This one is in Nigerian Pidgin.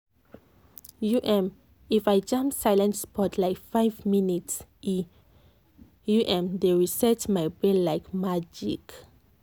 um if i jam silent spot like five minutes e um dey reset my brain like magic.